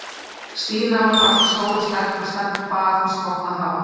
Stína var alltaf stór og sterk og Stebba fannst gott að hafa